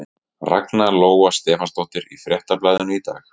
Ragna Lóa Stefánsdóttir í Fréttablaðinu í dag.